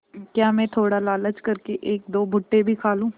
क्या मैं थोड़ा लालच कर के एकदो भुट्टे भी खा लूँ